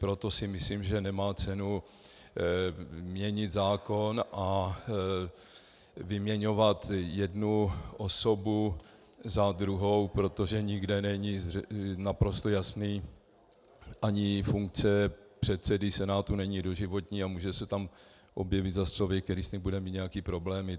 Proto si myslím, že nemá cenu měnit zákon a vyměňovat jednu osobu za druhou, protože nikde není naprosto jasný... ani funkce předsedy Senátu není doživotní a může se tam objevit zas člověk, který s ní bude mít nějaké problémy.